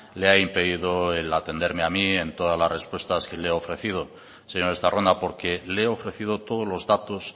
le ha impedido el atenderme a mí en todas las respuestas que le he ofrecido señor estarrona porque le he ofrecido todos los datos